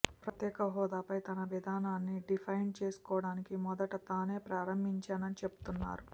ప్రత్యేకహోదాపై తన విధానాన్ని డిఫెండ్ చేసుకోవడానికి మొదట తానే ప్రారంభించానని చెబుతున్నారు